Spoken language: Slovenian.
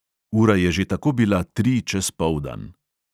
Ura je že tako bila tri čez poldan …